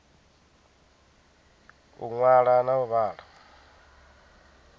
u ṅwala na u vhala